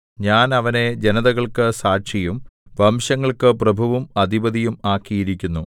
ഞാൻ അവനെ ജനതകൾക്കു സാക്ഷിയും വംശങ്ങൾക്കു പ്രഭുവും അധിപതിയും ആക്കിയിരിക്കുന്നു